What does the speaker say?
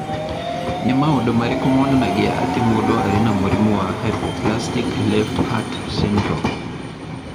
Nĩ maũndũ marĩkũ monanagia atĩ mũndũ arĩ na mũrimũ wa Hypoplastic left heart syndrome?